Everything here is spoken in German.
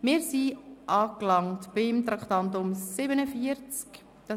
Wir kommen zu Traktandum 47: